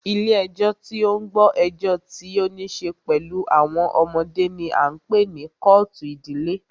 Ilé ẹjọ́ tí o ń gbọ́ ẹjọ́ tí o níṣe pẹlú àwọn ọmọdé ní a ń pé ní kọ́ọ̀tù ìdílé.